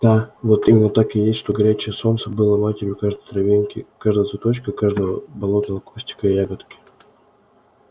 да вот именно так и есть что горячее солнце было матерью каждой травинки каждого цветочка каждого болотного кустика и ягодки